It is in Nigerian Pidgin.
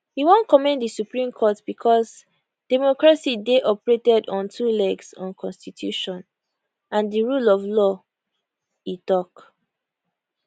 we wan commend di supreme court becos democracy dey operated on two legs on constitution and di rule of law e tok